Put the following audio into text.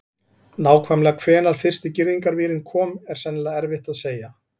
Nákvæmlega hvenær fyrsti girðingarvírinn kom er sennilega erfitt að segja.